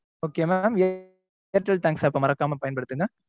okay mam airtel thanks app அ மறக்காம பயன்படுத்துங்க.